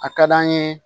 A ka d'an ye